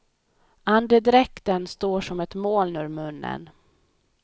Andedräkten står som ett moln ur munnen.